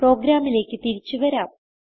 പ്രോഗ്രാമിലേക്ക് തിരിച്ചു വരാം